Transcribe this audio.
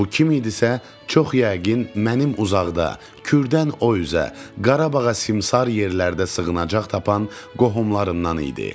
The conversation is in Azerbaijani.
Bu kim idisə çox yəqin mənim uzaqda, Kürdən o üzə, Qarabağa simsər yerlərdə sığınacaq tapan qohumlarımdan idi.